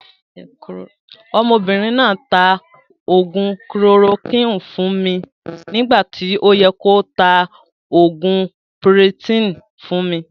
Ọmọbìnrin náà taa oògún "kilorokúinì" fún mi nígbà tí ó yẹ kí o tá oògùn piritiìni fún mi